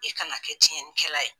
I kana kɛ cɛnnikɛla ye